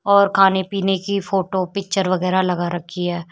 और खाने पीने की फोटो पिक्चर वगैरा लगा रखी है।